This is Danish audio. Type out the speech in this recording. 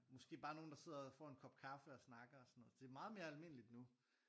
Måske bare nogen der sidder og får en kop kaffe og snakker og sådan noget det er meget mere almindeligt nu